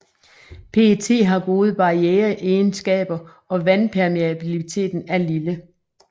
PET har gode barriereegenskaber og vandpermeabiliteten er lille